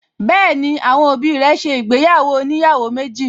Bẹ́ẹ̀ni, àwọn òbí rẹ̀ ṣe ìgbéyàwó oníyàwó méjì